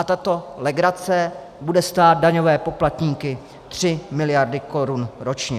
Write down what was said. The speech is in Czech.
A tato legrace bude stát daňové poplatníky tři miliardy korun ročně.